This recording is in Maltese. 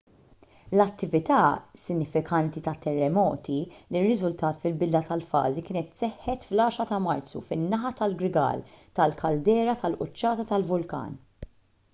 l-attività sinifikanti tat-terremoti li rriżultat fil-bidla tal-fażi kienet seħħet fl-10 ta' marzu fin-naħa tal-grigal tal-kaldera tal-quċċata tal-vulkan